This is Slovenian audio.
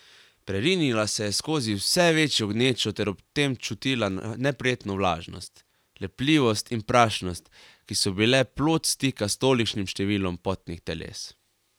Prerinila se je skozi vse večjo gnečo ter ob tem čutila neprijetno vlažnost, lepljivost in prašnost, ki so bile plod stika s tolikšnim številom potnih teles.